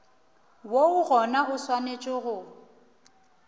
woo gona o swanetše go